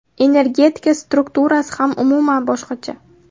Energetika strukturasi ham umuman boshqacha.